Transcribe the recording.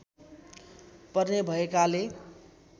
पर्ने भएकाले